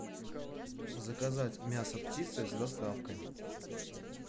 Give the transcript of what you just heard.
заказать мясо птицы с доставкой